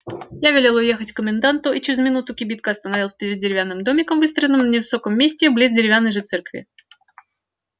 я велел ехать к коменданту и через минуту кибитка остановилась перед деревянным домиком выстроенным на высоком месте близ деревянной же церкви